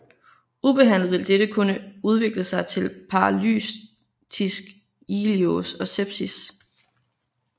Ubehandlet vil dette kunne udvikle sig til paralytisk ileus og sepsis